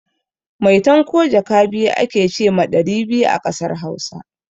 Maitan ko jaka a ke ce ma ɗari biyu a ƙasar Hausa.